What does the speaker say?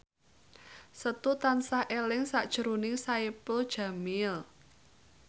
Setu tansah eling sakjroning Saipul Jamil